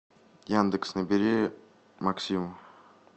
яндекс набери максим